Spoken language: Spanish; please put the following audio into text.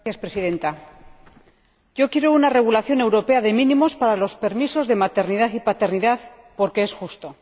Señora Presidenta, yo quiero una regulación europea de mínimos para los permisos de maternidad y paternidad, porque es justo.